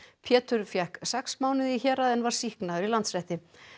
Pétur fékk sex mánuði í héraði en var sýknaður í Landsrétti